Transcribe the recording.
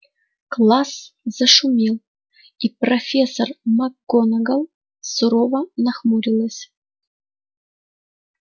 класс зашумел и профессор макгонагалл сурово нахмурилась